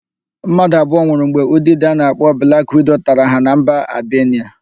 Mmadụ abụo nwụrụ mgbe udide a na-akpọ blak wido tara ha na mba Albenia.